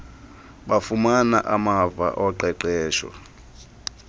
bafumana amava oqeqesho